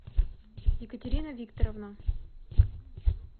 екатерина викторовна